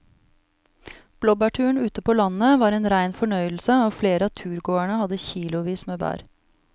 Blåbærturen ute på landet var en rein fornøyelse og flere av turgåerene hadde kilosvis med bær.